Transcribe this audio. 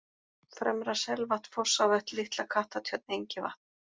Fremra-Selvatn, Fossavötn, Litla-Kattartjörn, Engivatn